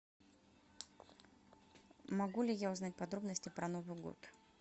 могу ли я узнать подробности про новый год